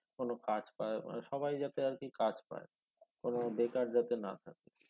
কোনো কাজ পায় আহ সবাই যাতে আরকি কাজ পায় কোনো বেকার যাতে না থাকে